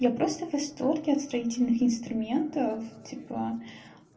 я просто в восторге от строительных инструментов тепла